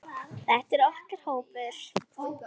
Þetta er okkar hópur.